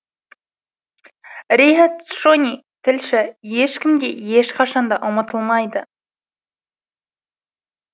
риат шони тілші ешкім де ешқашанда ұмытылмайды